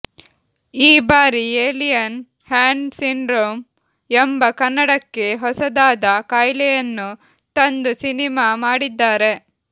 ಈ ಬಾರಿ alien hand syndrome ಎಂಬ ಕನ್ನಡಕ್ಕೆ ಹೊಸದಾದ ಖಾಯಿಲೆಯನ್ನು ತಂದು ಸಿನಿಮಾ ಮಾಡಿದ್ದಾರೆ